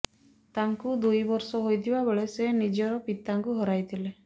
ତାଙ୍କୁ ଦୁଇ ବର୍ଷ ହୋଇଥିବା ବେଳେ ସେ ନିଜର ପିତାଙ୍କୁ ହରାଇଥିଲେ